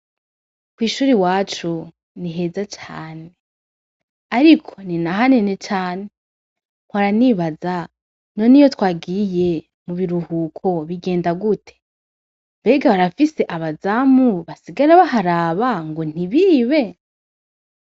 Kw'ishuri wacu ni heza cane, ariko ni naha nene cane nkwaranibaza none iyo twagiye mu biruhuko bigenda gute mbega barafise abazamu basigara baharaba ngo ntibibe.